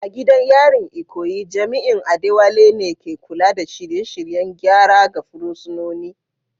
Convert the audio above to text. A gidan yarin Ikoyi, jami’in Adewale ne ke kula da shirye-shiryen gyara ga fursunoni